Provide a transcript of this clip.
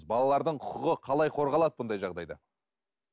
балалардың құқығы қалай қорғалады мұндай жағдайда